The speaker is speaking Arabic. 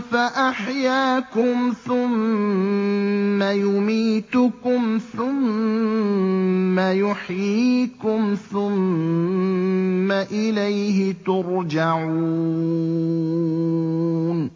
فَأَحْيَاكُمْ ۖ ثُمَّ يُمِيتُكُمْ ثُمَّ يُحْيِيكُمْ ثُمَّ إِلَيْهِ تُرْجَعُونَ